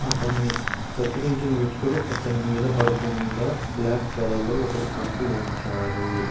అతని కత్తిరించిన వెంటికలు అతని మీద పడుకుండ బ్లాక్ కలర్లో ఒకటి కప్పి ఉంచారు.